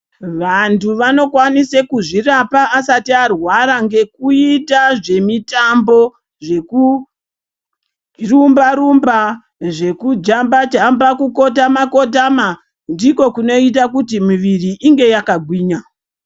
Vantu vanokwanisa kuzvirapa asati arwara ngekuita zvemitambo zvekurumba rumba, zvekujamba jamba, kukotama kotama ndiko kunoita kuti miviri inge yakagwinya.